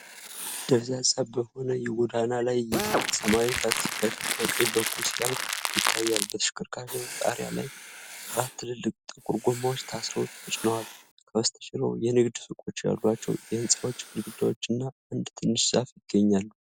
ደብዛዛ በሆነ የጎዳና ላይ እይታ ሰማያዊ ታክሲ ከፊት በቀኝ በኩል ሲያልፍ ይታያል። በተሽከርካሪው ጣሪያ ላይ አራት ትልልቅ ጥቁር ጎማዎች ታስረው ተጭነዋል፤ ከበስተጀርባው የንግድ ሱቆች ያሏቸው የሕንፃዎች ግድግዳዎች እና አንድ ትንሽ ዛፍ ይገኛሉ።